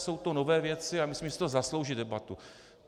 Jsou to nové věci a myslím, že si to zaslouží debatu.